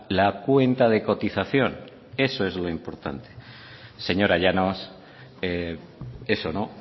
la cuenta de cotización eso es lo importante señora llanos eso no